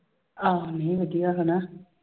ਆਹੋ ਨਹੀਂ ਵਧੀਆ ਹਨਾ।